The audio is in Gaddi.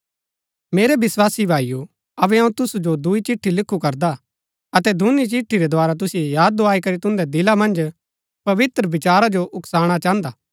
मेरै विस्वासी भाईओ अबै अऊँ तुसु जो दुई चिट्ठी लिखु करदा अतै दूनी चिट्ठी रै द्धारा तुसिओ याद दुआई करी तुन्दै दिला मन्ज पवित्र विचारा जो उकसाणा चाहन्दा हा